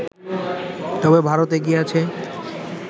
তবে ভারত এগিয়ে আছে